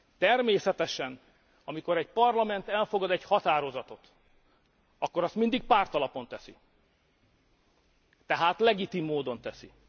Természetesen, amikor egy Parlament elfogad egy határozatot, akkor azt mindig pártalapon teszi, tehát legitim módon teszi.